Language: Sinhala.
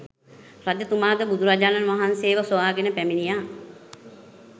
රජතුමාද බුදුරජාණන් වහන්සේව සොයාගෙන පැමිණියා